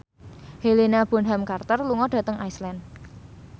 Helena Bonham Carter lunga dhateng Iceland